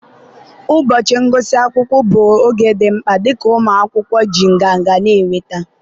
ụbọchị ngụsị akwụkwọ bụ oge dị mkpa, dịka ụmụ akwụkwọ ji nganga na-enweta